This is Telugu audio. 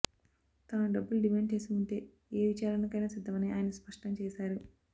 తాను డబ్బులు డిమాండ్ చేసి ఉంటే ఏ విచారణకైనా సిద్ధమని ఆయన స్పష్టం చేశారు